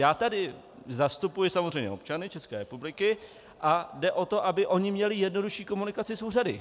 Já tady zastupuji samozřejmě občany České republiky a jde o to, aby oni měli jednodušší komunikaci s úřady.